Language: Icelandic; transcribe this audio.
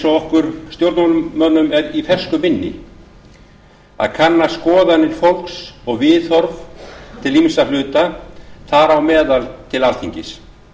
okkur stjórnmálamönnum er í fersku minni að kanna skoðanir fólks og viðhorf til ýmissa hluta þar á meðal til alþingis